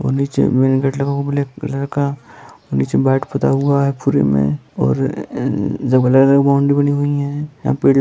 और नीचे main gate लगा हुआ है ब्लैक कलर का | नीचे वाइट पूता हुआ है पुरे में और अअअ जो ब्लैक है बाउंड्री बनी हुई है यहाँ पे --